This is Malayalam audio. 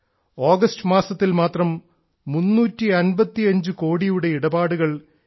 ആഗസ്റ്റ് മാസത്തിൽ മാത്രം 355 കോടിയുടെ ഇടപാടുകൾ യു